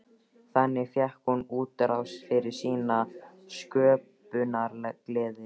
Þannig fékk hún útrás fyrir sína sköpunargleði.